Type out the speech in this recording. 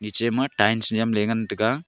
eche ma tiles nam ley ngan taiga.